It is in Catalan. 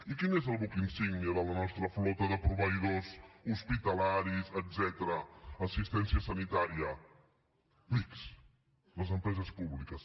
i quin és el buc insígnia de la nostra flota de proveïdors hospitalaris etcètera assistència sanitària l’ics les empreses públiques